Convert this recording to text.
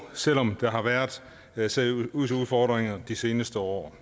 selv om der har været været seriøse udfordringer de seneste år